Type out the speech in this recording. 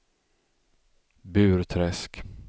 Burträsk